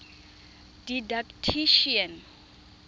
didactician